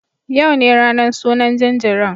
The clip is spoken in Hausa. Yau ne ranan sunan jinjirin